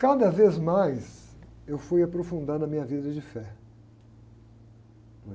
Cada vez mais eu fui aprofundando na minha vida de fé.